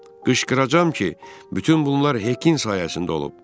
Qışqıracağam ki, bütün bunlar Hekin sayəsində olub.